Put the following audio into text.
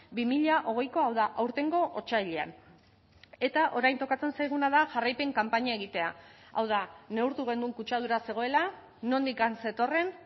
bi mila hogeiko hau da aurtengo otsailean eta orain tokatzen zaiguna da jarraipen kanpaina egitea hau da neurtu genuen kutsadura zegoela nondik zetorren